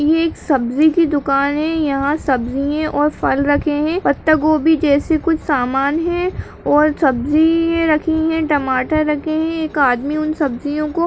ये एक सब्जी की दुकान है यहां सब्जियें और फल रखे हैं पत्ता गोबी जैसे कुछ सामान हैं और सब्जियें रखी हैं टमाटर रखे हैं एक आदमी उन सब्जियों को --